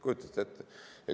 Kujutate ette?